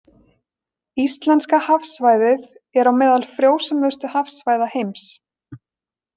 Íslenska hafsvæðið er á meðal frjósömustu hafsvæða heims.